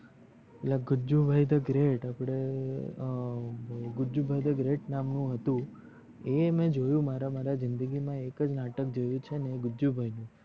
પેલા Gujjubhai the great પડે અ ગુજ્જુભાઇ ધ ગ્રેટ નામ નું હતું અ મે જોયું મારા મારા જિંદગી મા એકજ નાટક જોયું છે ને એ ગુજ્જુભાઇ છે